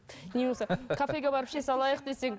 не болмаса кафеге барып іше салайық десең